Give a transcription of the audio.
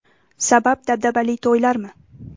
Sabab dabdabali to‘ylarmi?